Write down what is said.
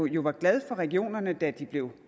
jo var glad for regionerne da de blev